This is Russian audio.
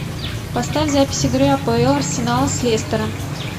поставь запись игры апл арсенал с лестером